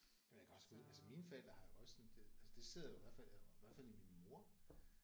Men jeg kan også altså mine forældre har jo også sådan det altså det sidder jo også i hvert fald i hvert i min mor